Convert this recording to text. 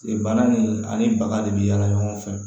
Bana nin ani baga de bi yaala ɲɔgɔn fɛ